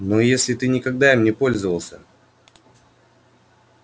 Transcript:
но если ты никогда им не пользовался